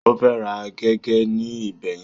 Ó fẹ́ ra gègé ní ibẹ̀ yẹn.